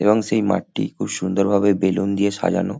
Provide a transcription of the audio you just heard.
এবং সেই মাঠটি খুব সুন্দর ভাবে বেলুন দিয়ে সাজানো।